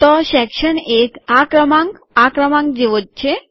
તો સેક્શન ૧ આ ક્રમાંક આ ક્રમાંક જેવો જ છે